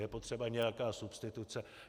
Je potřeba nějaká substituce.